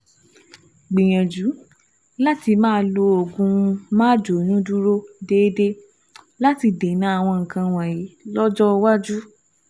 Gbìyànjú láti máa lo oògùn máàjóyúndúró déédéé láti dènà àwọn nǹkan wọ̀nyí lọ́jọ́ iwájú